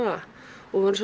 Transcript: og vorum